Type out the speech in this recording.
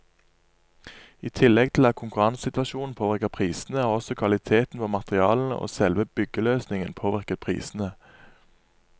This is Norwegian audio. I tillegg til at konkurransesituasjonen påvirker prisene, har også kvaliteten på materialene og selve byggeløsningen påvirket prisene.